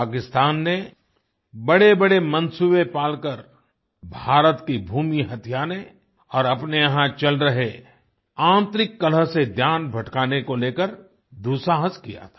पाकिस्तान ने बड़ेबड़े मनसूबे पालकर भारत की भूमि हथियाने और अपने यहाँ चल रहे आन्तरिक कलह से ध्यान भटकाने को लेकर दुस्साहस किया था